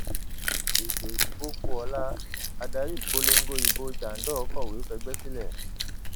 ètò ìdìbò kù ọla adarí ìpolongo ìbò jandor kọwé fẹgbẹ sílẹ